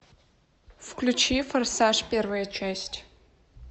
включи форсаж первая часть